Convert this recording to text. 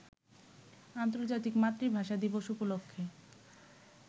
আন্তর্জাতিক মাতৃভাষা দিবস উপলক্ষে